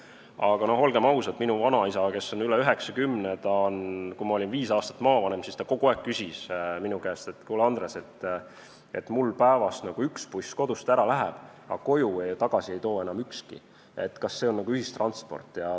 Aga no olgem ausad, minu vanaisa, kes on üle 90, küsis siis, kui ma olin viis aastat maavanem, minu käest kogu aeg, et kuule, Andres, mul päevas üks buss kodust ära viib, aga koju tagasi ei too enam ükski, kas see ongi ühistransport.